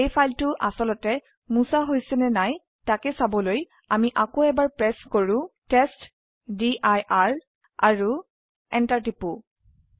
এই ফাইলটা আসলতে মুছা হৈছে নে নাই তাক চাবলৈ আমি আকৌএবাৰ প্ৰেস কৰো টেষ্টডিৰ আৰু এন্টাৰ টিপক